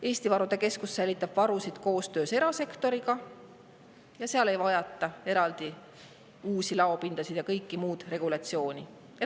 Eesti Varude Keskus säilitab varusid koostöös erasektoriga ja seal ei vajata eraldi uusi laopindasid ega kõiki neid regulatsioone.